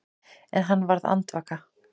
En hann varð andvaka.